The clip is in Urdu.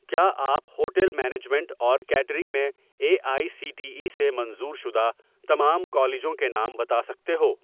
کیا آپ ہوٹل مینجمنٹ اور کیٹرنگ میں A I C T E سے منظور شدہ تمام کالجوں کے نام بتا سکتے ہو